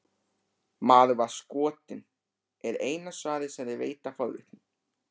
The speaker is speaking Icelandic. Maður var skotinn, er eina svarið sem þeir veita forvitnum.